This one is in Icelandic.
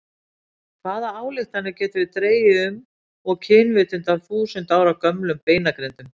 Hvaða ályktanir getum við dregið um og kynvitund af þúsund ára gömlum beinagrindum?